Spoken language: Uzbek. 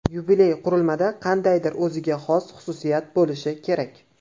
Yubiley qurilmada qandaydir o‘ziga xos xususiyat bo‘lishi kerak.